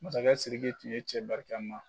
Masakɛ Siriki tun ye cɛ barika ma